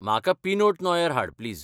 म्हाका pinot noir हाड, please.